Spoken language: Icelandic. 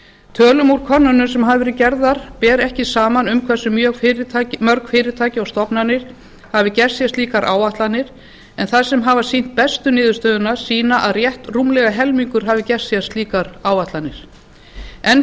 tölum úr könnunum sem hafa verið gerðar ber ekki saman um hversu mörg fyrirtæki og stofnanir hafi gert sér slíkar áætlanir en þær sem hafa sýnt bestu niðurstöðurnar sýna að rétt rúmlega helmingur hafi gert sér slíkar áætlanir enn